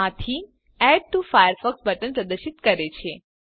આ theme add to Firefox button પ્રદર્શિત કરે છે